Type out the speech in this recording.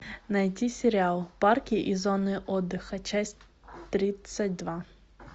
найди сериал парки и зоны отдыха часть тридцать два